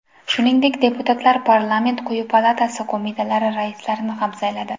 Shuningdek, deputatlar parlament quyi palatasi qo‘mitalari raislarini ham sayladi.